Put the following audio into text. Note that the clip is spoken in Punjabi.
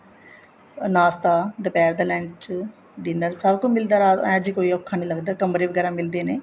ਨਾਸਤਾ ਦੁਪਿਹਰ ਦਾ lunch dinner ਸਭ ਕੁੱਛ ਮਿਲਦਾ ਇਹ ਜ਼ੇ ਕੋਈ ਔਖਾ ਨਹੀਂ ਲੱਗਦਾ ਕਮਰੇ ਵਗੈਰਾ ਮਿਲਦੇ ਨੇ